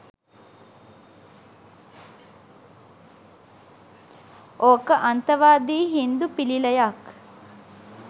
ඕක අන්තවාදී හින්දු පිළිලයක්